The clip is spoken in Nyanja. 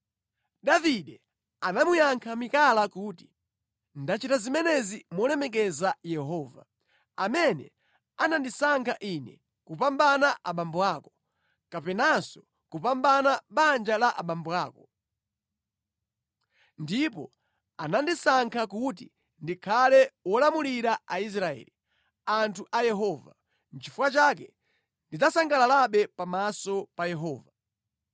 Davide anamuyankha Mikala kuti, “Ndachita zimenezi molemekeza Yehova, amene anandisankha ine kupambana abambo ako, kapenanso kupambana banja la abambo ako. Ndipo anandisankha kuti ndikhale wolamulira Aisraeli, anthu a Yehova. Nʼchifukwa chake ndidzasangalalabe pamaso pa Yehova.